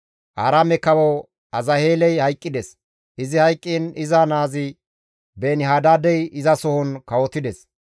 Aaraame kawo Azaheeley hayqqides; izi hayqqiin iza naazi Beeni-Hadaadey izasohon kawotides.